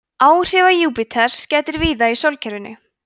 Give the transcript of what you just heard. áhrifa júpíters gætir víða í sólkerfinu